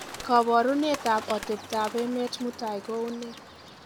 koborunet ab otebtab emet mutai ko unee